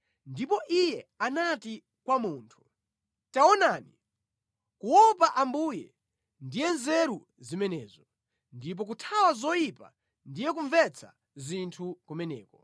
Ndipo Iye anati kwa munthu, ‘Taonani, kuopa Ambuye, ndiye nzeru zimenezo ndipo kuthawa zoyipa ndiye kumvetsa zinthu kumeneko.’ ”